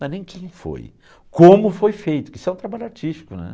Não é nem quem foi, como foi feito, porque isso é um trabalho artístico, né?